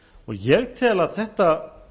ég tel að þetta